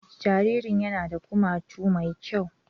Jaririn yana da kumatu mai kyau